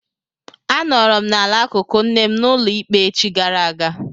A nọrọ m ala n'akụkụ nne m n'ụlọ ikpe echi gara aga.